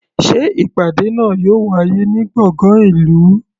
Sé ìpàdé náà yóò wáyé ní gbọ̀ngàn ìlú?